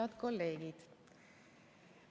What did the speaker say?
Head kolleegid!